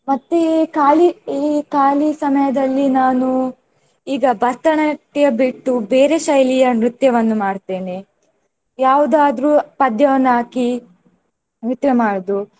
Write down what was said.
ಮತ್ತೆ ಖಾಲಿ ಈ ಖಾಲಿ ಸಮಯದಲ್ಲಿ ನಾನು ಈಗ ಭರತನಾಟ್ಯ ಬಿಟ್ಟು ಬೇರೆ ಶೈಲಿಯ ನ್ರತ್ಯವನ್ನು ಮಾಡ್ತೇನೆ. ಯಾವುದಾದ್ರೂ ಪದ್ಯವನ್ನು ಹಾಕಿ ನ್ರತ್ಯ ಮಾಡುವುದು.